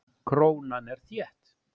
Krónan er þétt.